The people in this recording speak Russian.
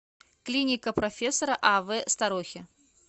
клиника профессора ав старохи